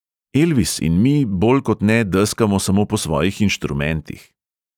Elvis in mi bolj kot ne deskamo samo po svojih inštrumentih.